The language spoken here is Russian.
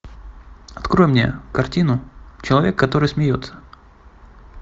открой мне картину человек который смеется